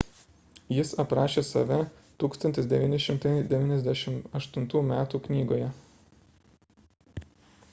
jis aprašė save 1998 m knygoje